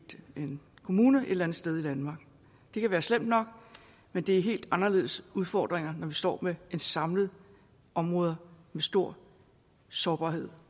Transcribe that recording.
en kommune et eller andet sted i danmark det kan være slemt nok men det er helt anderledes udfordringer når vi står med samlede områder med stor sårbarhed